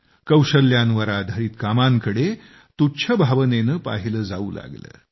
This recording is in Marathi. कौशल्यांवर आधारित कामांकडे तुच्छ भावनेने पाहिले जाऊ लागले